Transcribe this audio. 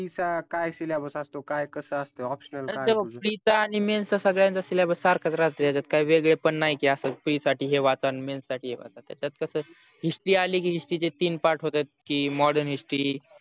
pre चा काय syllabus असतो काय कसा असतो optional काय असते ते बग pre चा आणि men चा सगळ्यांचा syllabus सारखाच राहते याचात काही वेगळे पण नाही की अस pre साठी हे वाचा men साठी हे वाचा त्याचात कस history आली की हिस्टरी चे तीन part होतात की modern history